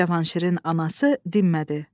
Cavanşirin anası dinmədi.